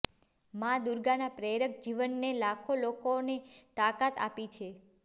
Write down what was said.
માં દુર્ગાના પ્રેરક જીવને લાખો લોકોને તાકાત આપી છે